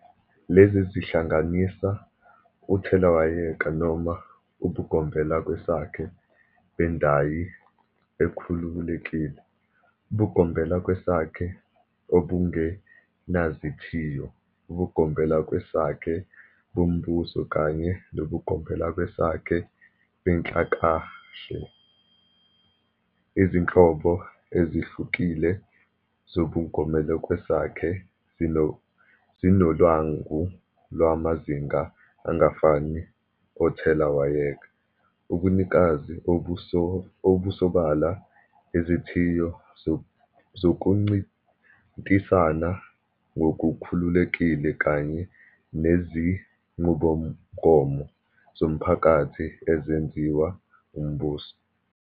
Lezi zihlanganisa uthelawayeka noma ubugombelakwesakhe bendayi ekhululekile, ubugombelakwesakhe obungenazithiyo, ubugombelakwesakhe bombuso kanye nobugombelakwesakhe benhlakahle. Izinhlobo ezihlukile zobugombelakwesakhe zinolwangu lwamazinga angafani othelawayeka, ubunikazi obusobala, izithiyo zokuncintisana ngokukhululekile kanye nezinqubomgomo zomphakathi ezenziwa umbuso.